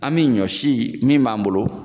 An bɛ ɲɔ si min b'an bolo